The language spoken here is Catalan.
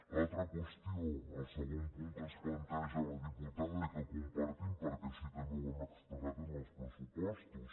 l’altra qüestió el segon punt que ens planteja la diputada i que compartim perquè així també ho hem expressat en els pressupostos